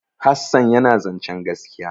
Hassan yana zancen gaskiya.